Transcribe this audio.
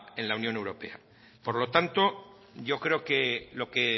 en la unión europea por lo tanto yo creo que lo que